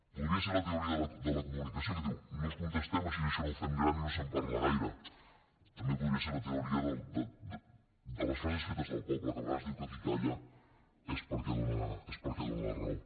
podria ser la teoria de la comunicació que diu no els contestem així això no ho fem gran i no se’n parla gaire també podria ser la teoria de les frases fetes del poble que a vegades diu que qui calla és perquè dóna la raó